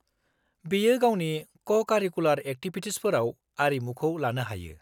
-बियो गावनि क'-कारिकुलार एक्टिभिटिसफोराव आरिमुखौ लानो हायो।